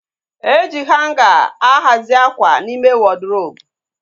E ji hanga a hazi akwa n'ime wọdrobu